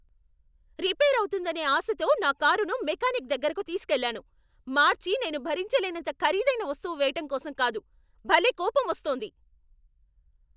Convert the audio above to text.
Repair అవుతుందనే ఆశతో నా కారును మెకానిక్ దగ్గరకు తీసుకెళ్ళాను, మార్చి నేను భరించలేనంత ఖరీదైన వస్తువు వేయటం కోసం కాదు! భలే కోపం వస్తోంది.